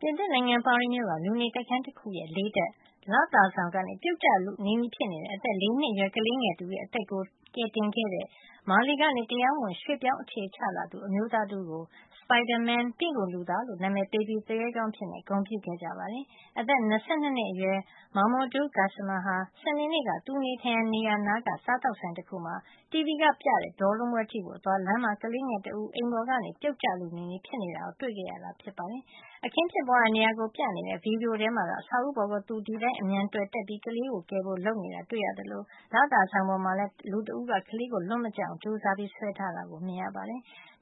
ပြင်သစ်နိုင်ငံ ပါရီမြို့က လူနေတိုက်ခန်းတခုရဲ့ ၄ ထပ် လသာဆောင်ကနေ ပြုတ်ကျလုနီးဖြစ်နေတဲ့ အသက် ၄ နှစ်အရွယ် ကလေးငယ်တဦး ရဲ့ အသက်ကို ကယ်တင်ခဲ့တဲ့ မာလီက တရားမဝင် ရွှေ့ပြောင်းအခြေချလာသူ အမျိုးသားတဦးကို "Spider-man" ပင့်ကူလူသား လို့ နာမည်ပေးပြီး သူရဲကောင်းအဖြစ် ဂုဏ်ပြုခဲ့ကြပါတယ်။ အသက် ၂၂ နှစ်အရွယ် Mamoudou Gassama ဟာ စနေနေ့က သူနေထိုင်ရာ နေရာနားက စားသောက်ဆိုင်တခုမှာ တီဗွီကနေ ပြနေတဲ့ ဘောလုံးပွဲကြည့်ဖို့ အသွား လမ်းမှာ ကလေးငယ်တဦး အိမ်ပေါ်ကနေ ပြုတ်ကျလုနီးနီးဖြစ်နေတာကို တွေ့ခဲ့ရတာ ဖြစ်ပါတယ်။ အခင်းဖြစ်ပွါးရာနေရာကို ပြနေတဲ့ ဗီဒီယိုထဲမှာတော့ အဆောက်အဦးပေါ်ကို သူဒီအတိုင်း အမြန်တွယ်တက်ပြီး ကလေးကို ကယ်ဖို့ လုပ်နေ တာ တွေ့ရသလို၊ လသာဆောင်ပေါ်မှာလည်း လူတဦးက ကလေးကို လွတ်မကျအောင် ကြိုးစားပြီး ဆွဲထားရတာကို မြင်နေရတာပါ။